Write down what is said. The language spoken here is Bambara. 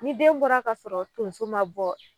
Ni den bɔra ka sɔrɔ tonso ma bɔ